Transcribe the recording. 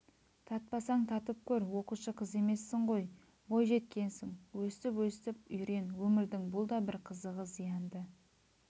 татпасаң татып көр оқушы қыз емессің ғой бойжеткенсің өстіп-өстіп үйрен өмірдің бұл да бір қызығы зиянды